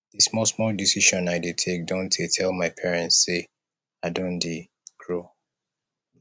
di small small decision i dey take dondtey tell my parents sey i don dey grow